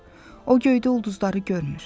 O göydə ulduzları görmür.